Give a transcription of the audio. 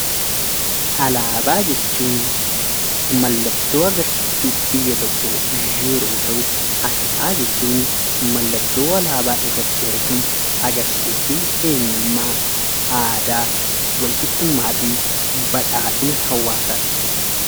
Alaabaa jechuun mallattoo agarsiiftuu biyya tokkoo yeroo ta'u, aasxaa jechuun mallattoo alaabaa irratti argamu agarsiiftuu eenyummaa, aadaa, walqixxummaafi badhaadhina hawaasaati.